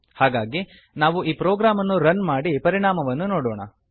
ಹಾಗಾಗಿ ನಾವು ಈ ಪ್ರೊಗ್ರಾಮ್ ಅನ್ನು ರನ್ ಮಾಡಿ ಪರಿಣಾಮವನ್ನು ನೊಡೋಣ